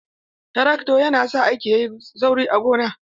Trakto yana sa aiki yayi sauri a gona.